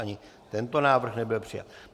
Ani tento návrh nebyl přijat.